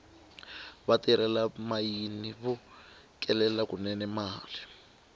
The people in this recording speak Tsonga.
vatirhela mayini vo kelela kunene mali